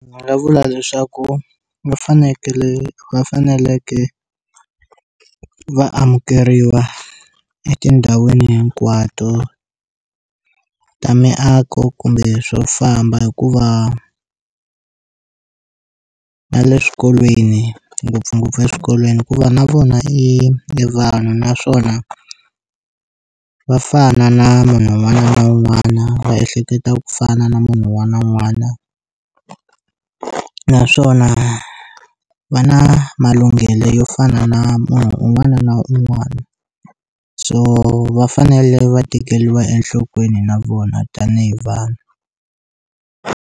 Ndzi nga vula leswaku va fanekele va faneleke va amukeriwa etindhawini hinkwato ta miako kumbe swo famba hikuva na le swikolweni ngopfungopfu eswikolweni hikuva na vona i i vanhu naswona va fana na munhu wun'wana na wun'wana va ehleketa ku fana na munhu wun'wana na wun'wana naswona va na malunghelo yo fana na munhu un'wana na un'wana so va fanele va tekeliwa enhlokweni na vona tanihi vanhu.